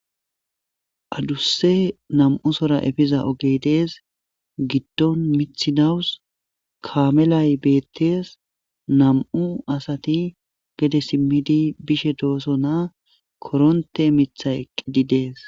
adusse nam'usora efiza oge dees giddon mithi nawus kaamelay beettees nam'u asati gede simmidi bishe doosonaa koronte mitha eqqidi dees